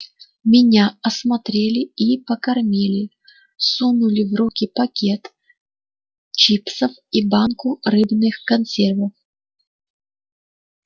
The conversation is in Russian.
меня осмотрели и покормили сунули в руки пакет чипсов и банку рыбных консервов